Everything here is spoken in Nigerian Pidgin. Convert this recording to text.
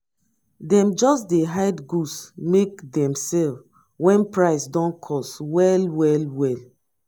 dem just dey hide goods make dem sell wen price don cost well well well.